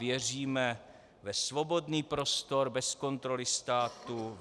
Věříme ve svobodný prostor bez kontroly státu.